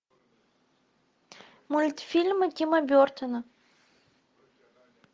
мультфильмы тима бертона